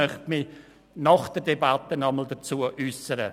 Dazu möchte ich mich nach der Debatte noch einmal äussern.